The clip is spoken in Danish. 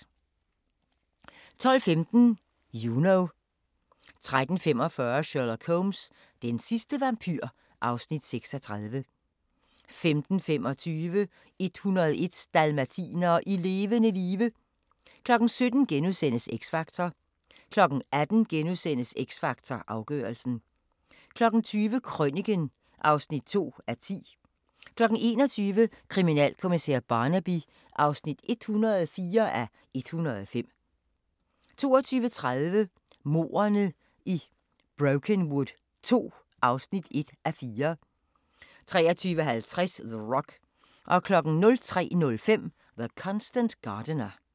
12:15: Juno 13:45: Sherlock Holmes: Den sidste vampyr (Afs. 36) 15:25: 101 dalmatinere i levende live 17:00: X Factor * 18:00: X Factor Afgørelsen * 20:00: Krøniken (2:10) 21:00: Kriminalkommissær Barnaby (104:105) 22:30: Mordene i Brokenwood II (1:4) 23:50: The Rock 03:05: The Constant Gardener